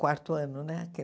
Quarto ano, né? Que